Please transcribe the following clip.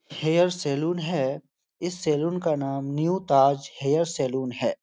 Hair salon है। इस salon का नाम न्यू ताज हेयर सलून है।